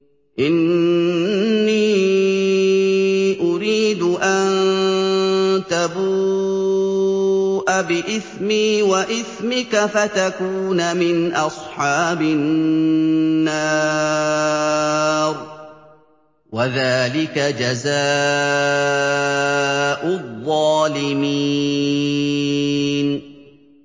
إِنِّي أُرِيدُ أَن تَبُوءَ بِإِثْمِي وَإِثْمِكَ فَتَكُونَ مِنْ أَصْحَابِ النَّارِ ۚ وَذَٰلِكَ جَزَاءُ الظَّالِمِينَ